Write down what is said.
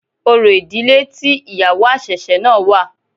Orò ìdílé tí ìyàwó àṣẹ̀ṣẹ̀ náà wà.